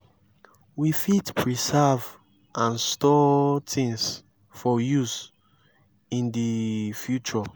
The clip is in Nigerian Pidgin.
we fit preserve and store things for use in di future